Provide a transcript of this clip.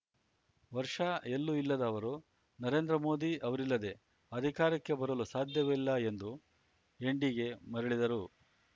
ವರ್ಷ ಎಲ್ಲೂ ಇಲ್ಲದ ಅವರು ನರೇಂದ್ರ ಮೋದಿ ಅವರಿಲ್ಲದೇ ಅಧಿಕಾರಕ್ಕೆ ಬರಲು ಸಾಧ್ಯವಿಲ್ಲ ಎಂದು ಎನ್‌ಡಿಗೆ ಮರಳಿದರು